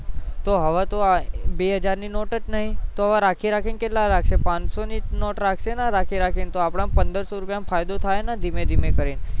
તો હવે તો આ બે હજાર ની નોટ જ નહીં તો રાખી રાખી ને કેટલા રાખશે પાંચસૌ ની નોટ જ રાખશે ને રાખી રાખી ને તો આપડે ન પંદર સૌ નો ફાયદો થાય ને દીમે દીમે કરીન